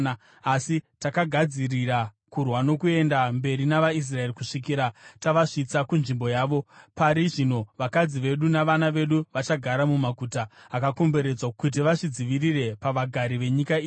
Asi takagadzirira kurwa nokuenda mberi navaIsraeri kusvikira tavasvitsa kunzvimbo yavo. Pari zvino vakadzi vedu navana vedu vachagara mumaguta akakomberedzwa, kuti vadzivirirwe pavagari venyika ino.